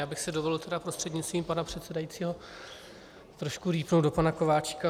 Já bych si dovolil, tedy prostřednictvím pana předsedajícího trošku rýpnout do pana Kováčika.